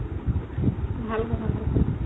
ভাল কথা ভাল কথা